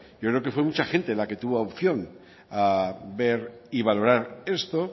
yo creo que fue mucha gente la que tuvo opción a ver y valorar esto